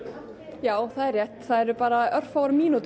já það er rétt það eru bara örfáar mínútúr